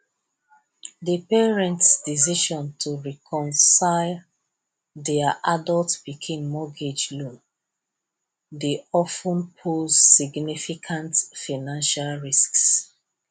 de parents decision to cosign their adult pikin mortgage loan dey of ten pose significant financial risks